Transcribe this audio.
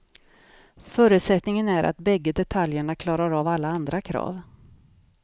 Förutsättningen är att bägge detaljerna klarar av alla andra krav.